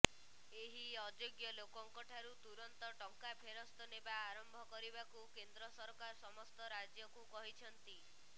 ଏହି ଅଯୋଗ୍ୟ ଲୋକଙ୍କଠାରୁ ତୁରନ୍ତ ଟଙ୍କା ଫେରସ୍ତ ନେବା ଆରମ୍ଭ କରିବାକୁ କେନ୍ଦ୍ର ସରକାର ସମସ୍ତ ରାଜ୍ୟକୁ କହିଛନ୍ତି